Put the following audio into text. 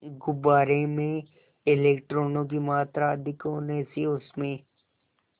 गुब्बारे में इलेक्ट्रॉनों की मात्रा अधिक होने से उसमें